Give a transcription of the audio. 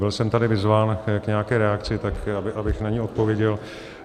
Byl jsem tady vyzván k nějaké reakci, tak abych na ni odpověděl.